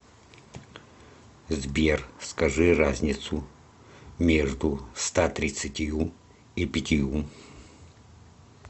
сбер скажи разницу между ста тридцатью и пятью